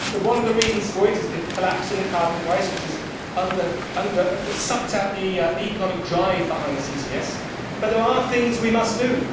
One of the reasons for it is the collapse in the carbon price which has sucked out the economic drive behind CCS, but there are things we must do.